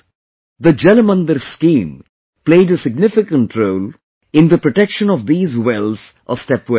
The 'Jal Mandir Scheme' played a significant role in the protection of these wells or step wells